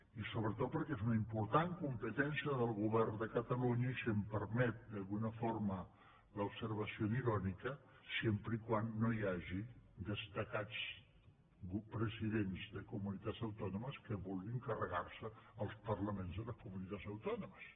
i sobretot perquè és una important competència del govern de catalunya i si em permet d’alguna forma l’observació irònica sempre que no hi hagi destacats presidents de comunitats autònomes que vulguin carregar se els parlaments de les comunitats autònomes